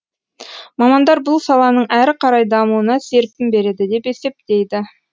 мамандар бұл саланың әрі қарай дамуына серпін береді деп есептейді